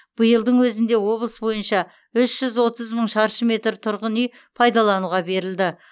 биылдың өзінде облыс бойынша үш жүз отыз мың шаршы метр тұрғын үй пайдалануға берілді